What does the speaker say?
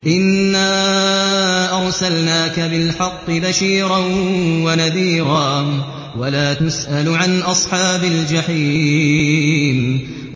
إِنَّا أَرْسَلْنَاكَ بِالْحَقِّ بَشِيرًا وَنَذِيرًا ۖ وَلَا تُسْأَلُ عَنْ أَصْحَابِ الْجَحِيمِ